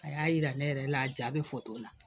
A y'a yira ne yɛrɛ la a ja bɛ la